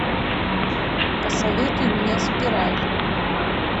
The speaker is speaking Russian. посоветуй мне спираль